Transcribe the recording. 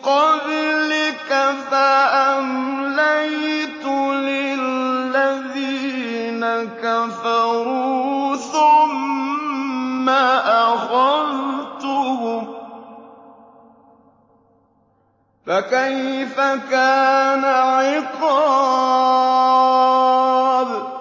قَبْلِكَ فَأَمْلَيْتُ لِلَّذِينَ كَفَرُوا ثُمَّ أَخَذْتُهُمْ ۖ فَكَيْفَ كَانَ عِقَابِ